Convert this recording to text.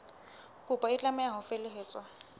kopo e tlameha ho felehetswa